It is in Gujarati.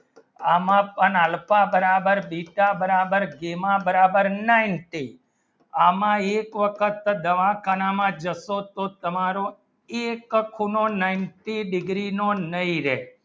એમાં પણ alpha બરાબર beta બરાબર gamma બરાબર ninety એમાં એક વખત દવાખાના માં બસો તો તમારો એક ખૂણો ninety degree નો નહિ રહે